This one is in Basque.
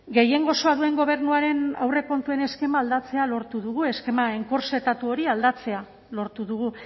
gehiengo osoa duen gobernuaren aurrekontuen eskema aldatzea lortu dugu eskema enkorsetatu hori aldatzea lortu dugu